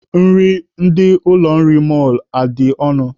Nri ndị ụlọ nri mọlụ a adị ọnụ?